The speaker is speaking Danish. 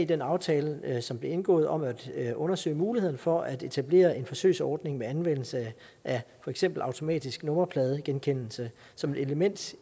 den aftale som blev indgået om at at undersøge muligheden for at etablere en forsøgsordning med anvendelse af for eksempel automatisk nummerpladegenkendelse som et element